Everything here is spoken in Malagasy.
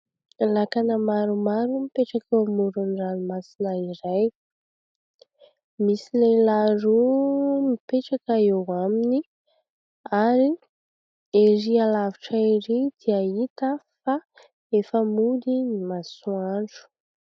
Lakana maromaro mipetraka eo amoron'ny ranomasina iray. Misy lehilahy roa mipetraka eo aminy ary ery lavitra ery dia hita fa efa mody ny masoandro.